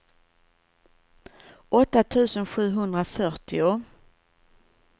åtta tusen sjuhundrafyrtio